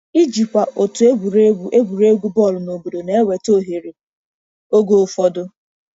Ijikwa otu egwuregwu egwuregwu bọọlụ obodo na-eweta ohere oge ụfọdụ.